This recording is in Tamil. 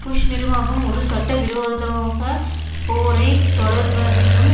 புஷ் நிர்வாகம் ஒரு சட்ட விரோதோக போரை தொடர்வதிலும்